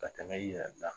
Ka tɛmɛ i yɛrɛ da